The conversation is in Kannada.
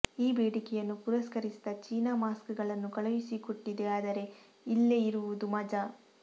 ಈ ಬೇಡಿಕೆಯನ್ನು ಪುರಸ್ಕರಿಸಿದ ಚೀನಾ ಮಾಸ್ಕ್ ಗಳನ್ನು ಕಳುಹಿಸಿಕೊಟ್ಟಿದೆ ಆದರೆ ಇಲ್ಲೆ ಇರುವುದು ಮಜಾ